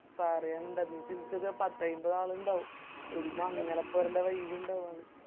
പറയണ്ട ഒര് പത്തയിമ്പത് ആളിണ്ടാവും ഒര് മംഗലപൊരെന്റെ vibe ഇണ്ടാവും